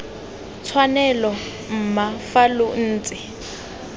tshwanelo mma fa lo ntse